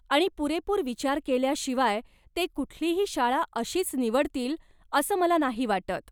आणि पुरेपूर विचार केल्याशिवाय ते कुठलीही शाळा अशीच निवडतील असं मला नाही वाटत.